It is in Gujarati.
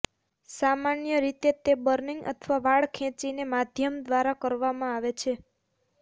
સામાન્ય રીતે તે બર્નિંગ અથવા વાળ ખેંચીને માધ્યમ દ્વારા કરવામાં આવે છે